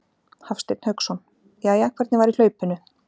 Hafsteinn Hauksson: Jæja, hvernig var í hlaupinu?